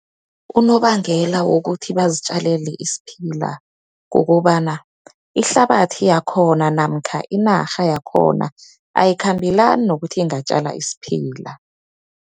Unobangela wokuthi bazitjalele isiphila kukobana ihlabathi yakhona, namkha inarha yakhona ayikhambelani nokuthi ingatjala isiphila.